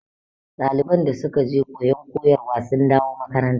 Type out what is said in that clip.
ɗaliban da suke je koyon koyarwa sun da wo makaranta